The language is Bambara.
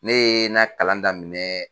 Ne ye na kalan daminɛ.